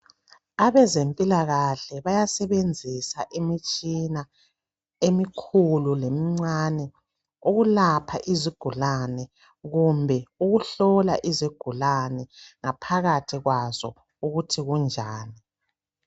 Abezempilakahle bayasebenzisa imitshina emikhulu lemincane ukulapha izigulane kumbe ukuhlola izigulane ngaphakathi kwazo ukuthi kunjani